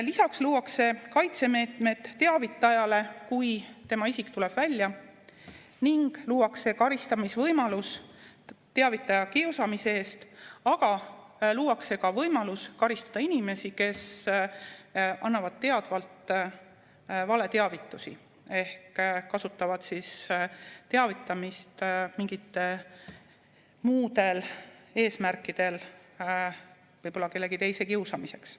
Lisaks luuakse kaitsemeetmed teavitajale, kui tema isik tuleb välja, ning luuakse karistamisvõimalus teavitaja kiusamise eest, aga luuakse ka võimalus karistada inimesi, kes annavad teadvalt valeteavitusi ehk kasutavad teavitamist mingitel muudel eesmärkidel, võib-olla kellegi teise kiusamiseks.